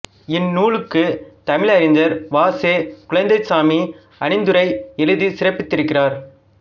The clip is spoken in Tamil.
இந்நூலுக்குத் தமிழறிஞர் வா செ குழந்தைசாமி அணிந்துரை எழுதிச் சிறப்பித்திருக்கிறார்